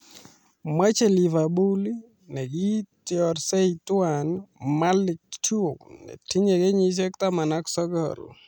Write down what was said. Machei Liverpool ne kiitiorsei tuwai Malick Thiaw netinye kenyisiek taman ak sokol